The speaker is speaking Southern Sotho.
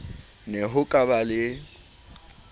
ne ho ka ba le